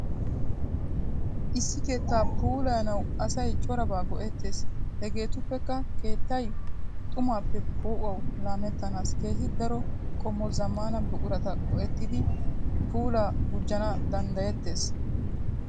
Issi keetta pullayanawu asay corabba go'ettes. Hegetuppekka keettay xummappe po"uwawu lammanas keehi daro qommo zammana buqurata go''ettidi puula gujjana danddayettees keltte bayinnan.